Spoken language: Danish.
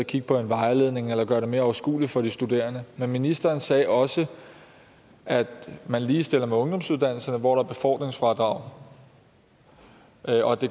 kigge på en vejledning eller gøre det mere overskueligt for de studerende men ministeren sagde også at man ligestiller med ungdomsuddannelserne hvor der er befordringsfradrag